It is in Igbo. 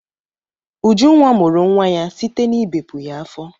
Ujunwa mụrụ nwa ya site n'ibepu ya afọ.